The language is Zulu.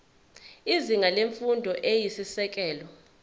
izinga lemfundo eyisisekelo